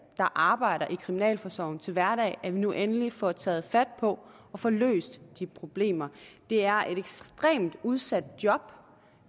der arbejder i kriminalforsorgen til hverdag at vi nu endelig får taget fat på at få løst de problemer det er et ekstremt udsat job